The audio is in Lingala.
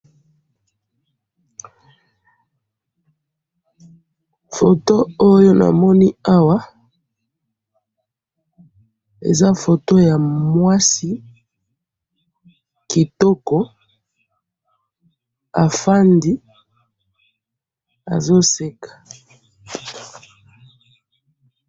photo oyo namoni awa eza photo ya mwasi kitoko afandi azo seka